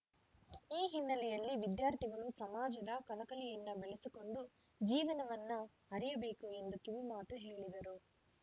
ಈ ಹಿನ್ನೆಲೆಯಲ್ಲಿ ವಿದ್ಯಾರ್ಥಿಗಳು ಸಮಾಜದ ಕಳಕಳಿಯನ್ನು ಬೆಳೆಸಿಕೊಂಡು ಜೀವನವನ್ನು ಅರಿಯಬೇಕು ಎಂದು ಕಿವಿಮಾತು ಹೇಳಿದರು